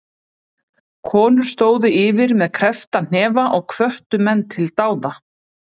Konur stóðu yfir með kreppta hnefa og hvöttu menn til dáða.